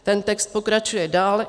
Ten text pokračuje dál.